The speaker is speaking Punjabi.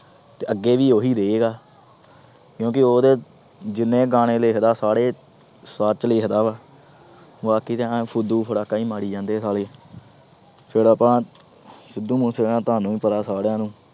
ਤੇ ਅੱਗੇ ਵੀ ਉਹੀ ਰਹੇਗਾ ਕਿਉਂਕਿ ਉਹਦੇ ਜਿੰਨੇ ਗਾਣੇ ਲਿਖਦਾ ਸਾਰੇ ਸੱਚ ਲਿਖਦਾ ਵਾ ਬਾਕੀ ਤਾਂ ਐਂ ਫੁੱਦੂ ਫ਼ਰਾਕਾਂ ਹੀ ਮਾਰੀ ਜਾਂਦੇ ਆ ਸਾਲੇ ਫਿਰ ਆਪਾਂ ਸਿੱਧੂ ਮੂਸਵਾਲਾ ਤੁਹਾਨੂੰ ਵੀ ਪਤਾ ਸਾਰਿਆਂ ਨੂੰ